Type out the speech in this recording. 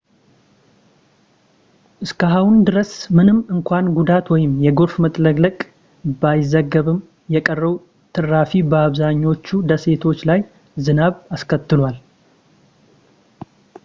እስካሁን ድረስ ምንም እንኳን ጉዳት ወይም የጎርፍ መጥለቅለቅ ባይዘገብም የቀረው ትራፊ በአብዛኞቹ ደሴቶች ላይ ዝናብ አስከትሏል